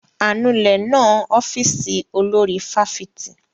Anulẹ̀ náà ń ọ́fíìsì olórí fáfitì.